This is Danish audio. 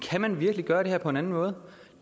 kan man virkelig gør det her på en anden måde